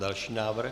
Další návrh?